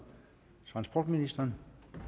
transportministeren